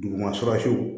Duguma surafiw